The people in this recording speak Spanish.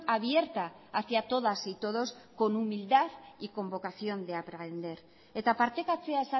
abierta hacia todas y todos con humildad y con vocación de aprender eta partekatzea